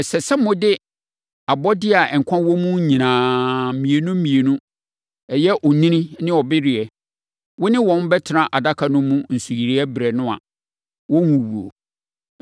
Ɛsɛ sɛ wode abɔdeɛ a nkwa wɔ mu nyinaa, mmienu mmienu a, ɛyɛ onini ne ɔbereɛ a, wo ne wɔn bɛtena adaka no mu nsuyire berɛ no a, wɔnwuwuo.